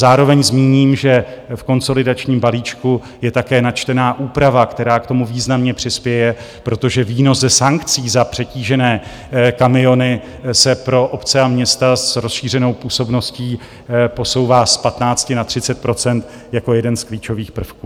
Zároveň zmíním, že v konsolidačním balíčku je také načtena úprava, která k tomu významně přispěje, protože výnos ze sankcí za přetížené kamiony se pro obce a města s rozšířenou působností posouvá z 15 na 30 % jako jeden z klíčových prvků.